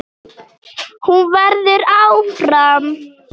Hún verður áfram.